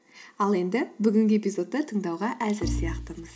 ал енді бүгінгі эпизодты тыңдауға әзір сияқтымыз